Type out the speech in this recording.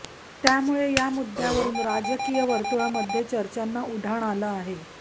त्यामुळे या मुद्द्यावरून राजकीय वर्तुळामध्ये चर्चांना उधाण आलं आहे